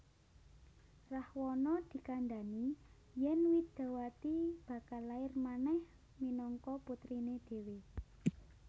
Rahwana dikandani yen Widawati bakal lair manèh minangka putrine dhewe